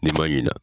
N'i ma ɲina